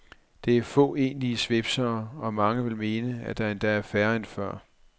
Der er få egentlige svipsere, og mange vil mene, at der endda er færre end før.